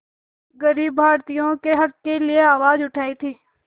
ग़रीब भारतीयों के हक़ के लिए आवाज़ उठाई थी